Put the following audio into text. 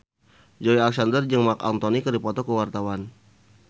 Joey Alexander jeung Marc Anthony keur dipoto ku wartawan